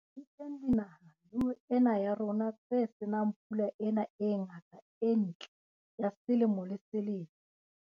Di teng dinaha le ho ena ya rona tse se nang pula ena e ngata e ntle ya selemo le selemo.